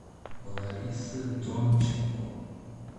ларисы донченко